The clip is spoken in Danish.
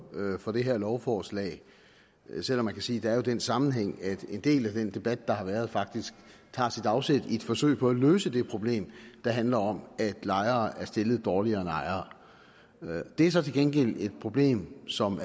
for det her lovforslag selv om man kan sige at der jo er den sammenhæng at en del af den debat der har været faktisk tager sit afsæt i et forsøg på at løse det problem der handler om at lejere er stillet dårligere end ejere det er så til gengæld et problem som